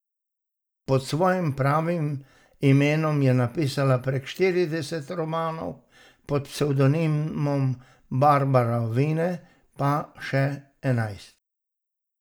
Pod svojim pravim imenom je napisala prek štirideset romanov, pod psevdonimom Barbara Vine pa še enajst.